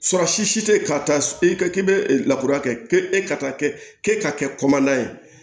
Sɔrɔ si si tɛ ka taa k'i bɛ lakura kɛ e ka kɛ k'e ka kɛ kɔmɔ ye